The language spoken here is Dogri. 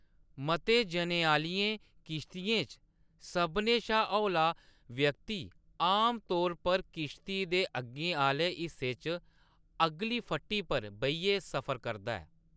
मते जनें आह्‌लियें किश्तियें च, सभनें शा हौला व्यक्ति आमतौर पर किश्ती दे अग्गें आह्‌‌‌ले हिस्से च अगली फट्टी पर बेहियै सफर करदा ऐ।